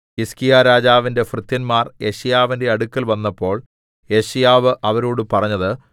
ഹിസ്കീയാരാജാവിന്റെ ഭൃത്യന്മാർ യെശയ്യാവിന്റെ അടുക്കൽ വന്നപ്പോൾ യെശയ്യാവ് അവരോട് പറഞ്ഞത്